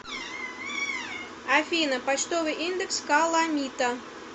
афина почтовый индекс каламита